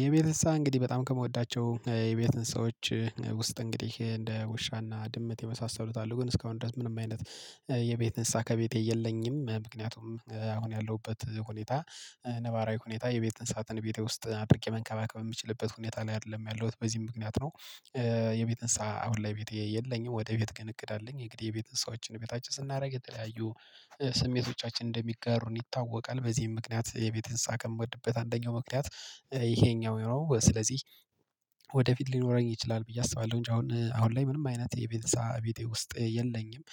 የቤት እንሰሳ እንግዲህ በጣም ከምወዳቸው የቤት እንሰሳዎች ውስጥ እንግዲህ እንደ ውሻና ድመት የመሳሰሉት አሉ ግን እስካሁን ድረስ ምንም አይነት የቤት እንሰሳ ከቤቴ የለኝም ምክንያቱም አሁን ያለሁበት ሁኔታ ነባራዊ ሁኔታ የቤት እንሳትን ቤቴ ውስጥ አድርጌ መንከባከብ የሚችልበት ሁኔታ ላይ አይደለም ያለሁት በዚህም ምክንያት ነው። የቤት እንሰሳ አሁን ላይ ቤት የለኝም ወደፊት ግን እቅድ አለኝ የግድ የቤት እንሰሳዎችን ቤታችን ስናደርግ የተለያዩ ስሜቶቻችን እንደሚጋሩን ይታወቃል። በዚህም ምክንያት የቤት እንሰሳ የምወድበት አንደኛው ምክንያት ይሄኛው የሆነው ስለዚህ ወደፊት ሊኖረኝ ይችላል ብዬ አስባለሁ። እንጂ አሁን አሁን ላይ ምንም አይነት የቤተሰብ ቤቴ ውስጥ የለኝም።